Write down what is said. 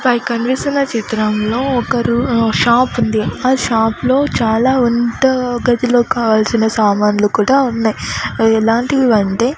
పై కనిపిస్తున్న చిత్రంలో ఒకరు షాప్ ఉంది ఆ షాపులో చాలా వంట గదిలోకి కావాల్సిన సామాన్లు కూడా ఉన్నాయి అవి ఎలాంటివి అంటే.